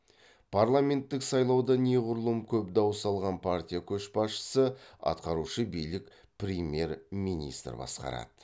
парламенттік сайлауда неғұрлым көп дауыс алған партия көшбасшысы атқарушы билік премьер министр басқарады